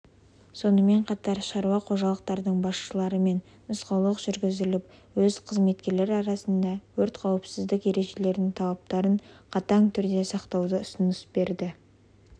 сонымен қатар шаруа қожалықтардың басшыларымен нұсқаулық жүргізіліп өз қызметкерлер арасында өрт қауіпсіздік ережелеренің талаптарын қатан түрінде сақтауды ұсыныс берілді